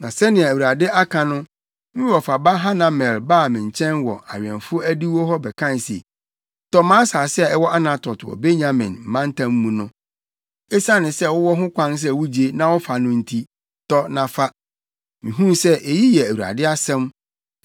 “Na sɛnea Awurade aka no, me wɔfa ba Hanamel baa me nkyɛn wɔ awɛmfo adiwo hɔ bɛkae se, ‘Tɔ mʼasase a ɛwɔ Anatot wɔ Benyamin mantam mu no. Esiane sɛ wowɔ ho kwan sɛ wugye na wofa no nti, tɔ na fa.’ “Mihuu sɛ eyi yɛ Awurade asɛm.”